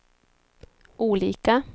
olika